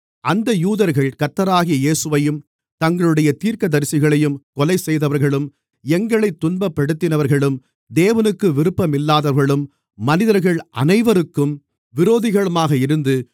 அந்த யூதர்கள் கர்த்தராகிய இயேசுவையும் தங்களுடைய தீர்க்கதரிசிகளையும் கொலை செய்தவர்களும் எங்களைத் துன்பப்படுத்தினவர்களும் தேவனுக்கு விருப்பமில்லாதவர்களும் மனிதர்கள் அனைவருக்கும் விரோதிகளுமாக இருந்து